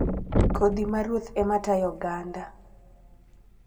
Kodhi ma ruoth ema tayo oganda.